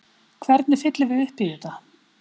Hvernig fyllum við upp í þetta?